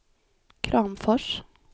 Kramfors